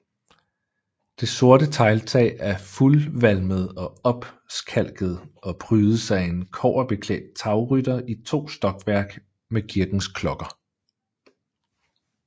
Det sorte tegltag er fuldvalmet og opskalket og prydes af en kobberbeklædt tagrytter i to stokværk med kirkens klokker